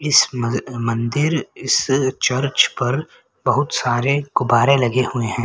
इस मज मंदिर इस चर्च पर बहुत सारे गुब्बारे लगे हुए है।